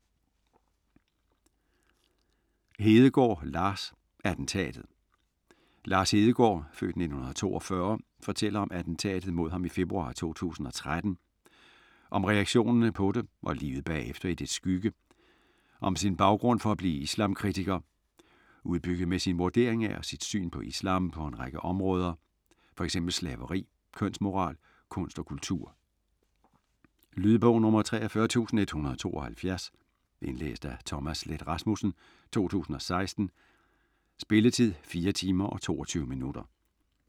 Hedegaard, Lars: Attentatet Lars Hedegaard (f. 1942) fortæller om attentatet mod ham i februar 2013, om reaktionen på det og livet bagefter i dets skygge, om sin baggrund for at blive islamkritiker - udbygget med sin vurdering af og sit syn på islam på en række områder, f.eks. slaveri, kønsmoral, kunst og kultur. Lydbog 43172 Indlæst af Thomas Leth Rasmussen, 2016. Spilletid: 4 timer, 22 minutter.